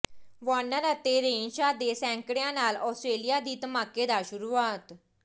Warner ਅਤੇ Renshaw ਦੇ ਸੈਂਕੜਿਆਂ ਨਾਲ ਆਸਟ੍ਰੇਲੀਆ ਦੀ ਧਮਾਕੇਦਾਰ ਸ਼ੁਰੂਆਤ